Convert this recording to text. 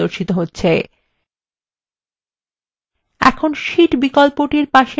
এখন শীট বিকল্পটির পাশে যোগ চিন্হে click করুন